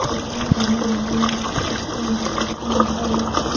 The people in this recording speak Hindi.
पैसे में पढ़ाए जाते है। अच्छी शिक्षी मिल शिक्षा मिलती है इसीलिए --